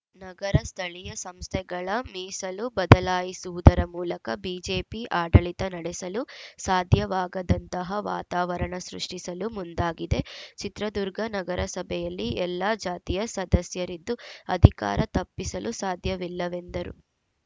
ನಗರ ಸ್ಥಳೀಯ ಸಂಸ್ಥೆಗಳ ಮೀಸಲು ಬದಲಾಯಿಸುವುದರ ಮೂಲಕ ಬಿಜೆಪಿ ಆಡಳಿತ ನಡೆಸಲು ಸಾಧ್ಯವಾಗದಂತಹ ವಾತಾವರಣ ಸೃಷ್ಟಿಸಲು ಮುಂದಾಗಿದೆ ಚಿತ್ರದುರ್ಗ ನಗರಸಭೆಯಲ್ಲಿ ಎಲ್ಲ ಜಾತಿಯ ಸದಸ್ಯರಿದ್ದು ಅಧಿಕಾರ ತಪ್ಪಿಸಲು ಸಾಧ್ಯವಿಲ್ಲವೆಂದರು